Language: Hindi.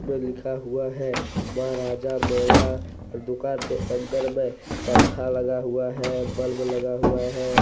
ऊपर लिखा हुआ है माँ राज मेवा दुकान के अंदर में पंखा लगा हुआ है बल्ब लगा हुआ है।